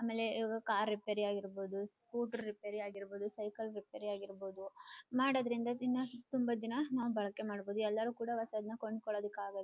ಆಮೆಲೇ ಇವಾಗ car repair ಆಗಿರ್ಬಹುದು scooter repair ಆಗಿರ್ಬಹುದು ಸೈಕಲ್ ರಿಪೇರ್ ಆಗಿರ್ಬಹುದು ಮಾಡೋದ್ರಿಂದ ದಿನ ತುಂಬ ದಿನ ನಾವು ಬಳೆಕೆ ಮಾಡಬಹುದು ಎಲ್ಲರೂ ಕೂಡ ಹೊಸಾದ್ನ ಕೊಂಕೊಳದಾಕ್ ಆಗಲ್ಲ.